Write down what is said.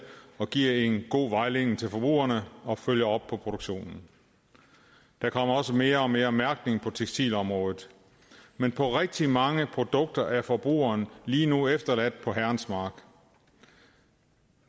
og giver en god vejledning til forbrugerne og følger op på produktionen der kommer også mere og mere mærkning på tekstilområdet men på rigtig mange produkter er forbrugeren lige nu efterladt på herrens mark